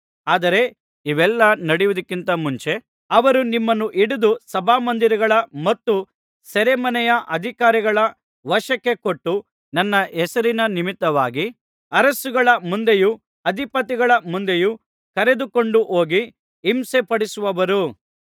ಆದರೆ ಇವೆಲ್ಲಾ ನಡೆಯುವುದಕ್ಕಿಂತ ಮುಂಚೆ ಅವರು ನಿಮ್ಮನ್ನು ಹಿಡಿದು ಸಭಾಮಂದಿರಗಳ ಮತ್ತು ಸೆರೆಮನೆಯ ಅಧಿಕಾರಿಗಳ ವಶಕ್ಕೆ ಕೊಟ್ಟು ನನ್ನ ಹೆಸರಿನ ನಿಮಿತ್ತವಾಗಿ ಅರಸುಗಳ ಮುಂದೆಯೂ ಅಧಿಪತಿಗಳ ಮುಂದೆಯೂ ಕರೆದುಕೊಂಡುಹೋಗಿ ಹಿಂಸೆಪಡಿಸುವರು